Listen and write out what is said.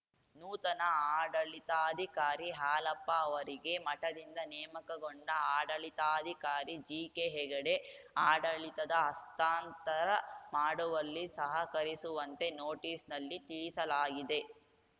ನೂತನ ಆಡಳಿತಾಧಿಕಾರಿ ಹಾಲಪ್ಪ ಅವರಿಗೆ ಮಠದಿಂದ ನೇಮಕಗೊಂಡ ಆಡಳಿತಾಧಿಕಾರಿ ಜಿಕೆ ಹೆಗಡೆ ಆಡಳಿತದ ಹಸ್ತಾಂತರ ಮಾಡುವಲ್ಲಿ ಸಹಕರಿಸುವಂತೆ ನೋಟಿಸ್‌ನಲ್ಲಿ ತಿಳಿಸಲಾಗಿದೆ